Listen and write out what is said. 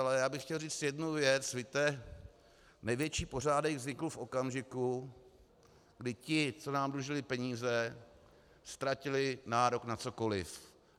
Ale já bych chtěl říct jednu věc: víte, největší pořádek vznikl v okamžiku, kdy ti, co nám dlužili peníze, ztratili nárok na cokoliv.